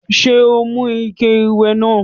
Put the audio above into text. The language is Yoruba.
Ṣé o mú ike ìwẹ̀ náà?